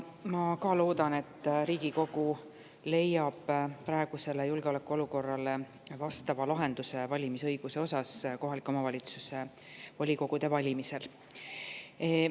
Ma ka loodan, et Riigikogu leiab praegusele julgeolekuolukorrale vastava lahenduse kohalike omavalitsuste volikogude valimise õiguse asjus.